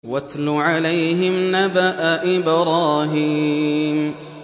وَاتْلُ عَلَيْهِمْ نَبَأَ إِبْرَاهِيمَ